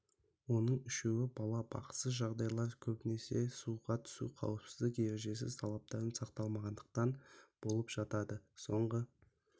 оның үшеуі бала бақытсыз жағдайлар көбінесе суға түсу қауіпсіздік ережесі талаптарын сақтамағандықтан болып жатады соңғы